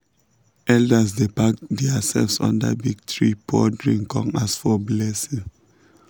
elders dey pack theirself under big tree pour drink con ask for blessing